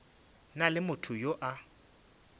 na le motho yo a